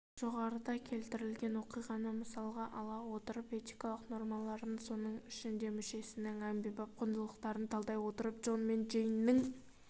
жоғарыда келтірілген оқиғаны мысалға ала отырып этикалық нормаларын соның ішінде мүшесінің әмбебап құндылықтарын талдай отырып джон мен джейннің